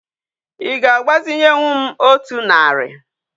Í ga agbazinyewu m otu nari?